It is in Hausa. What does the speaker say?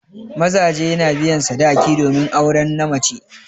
Mazaje na biyan sadaki domin auren na mace.